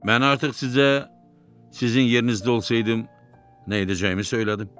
Mən artıq sizə, sizin yerinizdə olsaydım, nə edəcəyimi söylədim.